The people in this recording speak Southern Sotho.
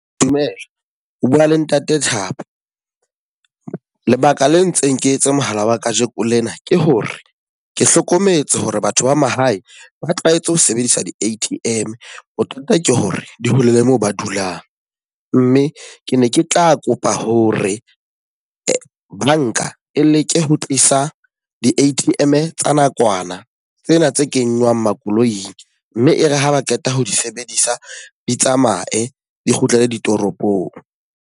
Dumela, o bua le ntate Thabo. Lebaka le entseng ke etse mohala wa ka jeko lena ke hore ke hlokometse hore batho ba mahae ba tlwahetse ho sebedisa di-A_T_M. Bothata ke hore di hole le moo ba dulang. Mme ke ne ke tla kopa hore banka e leke ho tlisa di-A_T_M tsa nakwana tsena tse kenywang makoloing mme e re ha ba qeta ho di sebedisa, di tsamaye di kgutlele ditoropong.